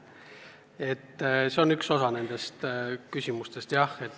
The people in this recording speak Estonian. See on tõesti üks üleval olevatest küsimustest.